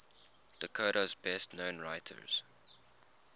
dakota's best known writers